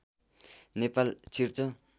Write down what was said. नेपाल छिर्छ